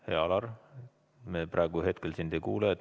Hea Alar, me praegu ei kuule sind.